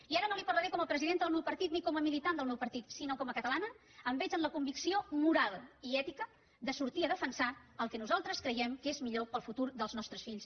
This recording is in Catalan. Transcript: i ara no li parlaré com a presidenta del meu partit ni com a militant del meu partit sinó com a catalana em veig en la convicció moral i ètica de sortir a defensar el que nosaltres creiem que és millor per al futur dels nostres fills